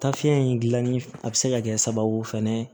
Tafe in gilanni a bɛ se ka kɛ sababu fɛnɛ ye